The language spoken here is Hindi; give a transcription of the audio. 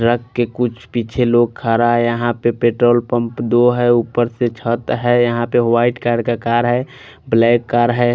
ट्रक के कुछ पीछे लोग खडा हैं यहाँ पे पेट्रोल पंप दो हैं ऊपर से छत है यहाँ पे वाइट कलर का कार है ब्लॉक कार है।